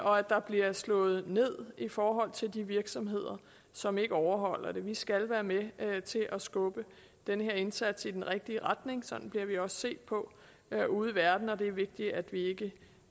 og at der bliver slået ned i forhold til de virksomheder som ikke overholder dem vi skal være med til at skubbe den her indsats i den rigtige retning sådan bliver vi også set på ude i verden og det er vigtigt at